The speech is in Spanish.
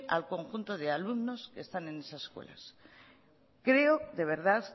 al conjunto de alumnos que están en esas escuelas creo de verdad